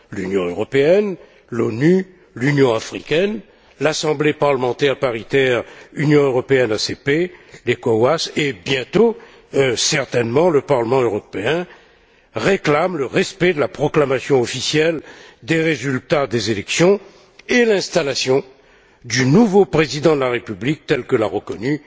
L'Union européenne, l'ONU, l'Union africaine, l'Assemblée parlementaire paritaire Union européenne ACP, la CEDEAO et, bientôt certainement, le Parlement européen, réclament le respect de la proclamation officielle des résultats des élections et l'installation du nouveau président de la République, tel que l'a reconnu